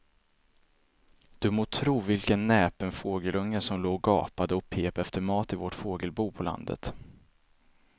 Du må tro vilken näpen fågelunge som låg och gapade och pep efter mat i vårt fågelbo på landet.